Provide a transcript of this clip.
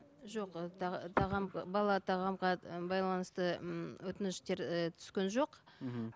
жоқ ы тағам бала тағамға ы байланысты ммм өтініштер ы түскен жоқ мхм